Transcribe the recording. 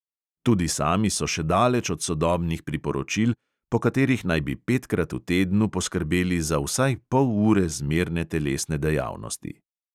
Tudi sami so še daleč od sodobnih priporočil, po katerih naj bi petkrat v tednu poskrbeli za vsaj pol ure zmerne telesne dejavnosti.